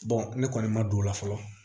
ne kɔni ma don o la fɔlɔ